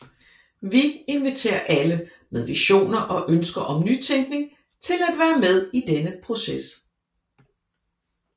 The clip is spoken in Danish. Vi inviterer alle med visioner og ønsker om nytænkning til at være med i denne proces